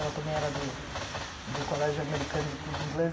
Ela também era do do Colégio Americano do Clube Inglês.